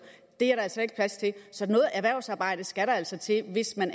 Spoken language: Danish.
er der altså ikke plads til så noget erhvervsarbejde skal der altså til hvis man